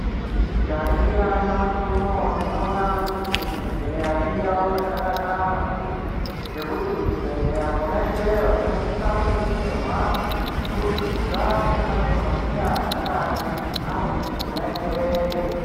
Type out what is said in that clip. Tikaningira nyamashi unouyu, tinoona kuti kuzvibhedhlera indau yakanaka maningi, ngekuti kuzvibhedhlera kona ikweyo kwakasisa kudetserwa kubudikidza ngemadhogodheya angadai arikona ikweyo.